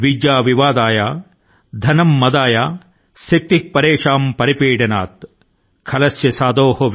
విద్యా వివాదాయ ధనం మదాయ శక్తి పరేషాం పరిపీడనాయ |